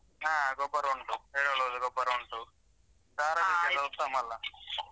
ಹಾ ಗೊಬ್ಬರ ಉಂಟು ಎರೆಹುಳದ್ದು ಗೊಬ್ಬರ ಉಂಟು ಉತ್ತಮ ಅಲ.